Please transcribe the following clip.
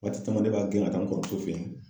Waati caman ne b'a gɛn ka taa n kɔrɔmuso fɛ yen.